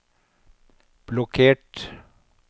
blokkert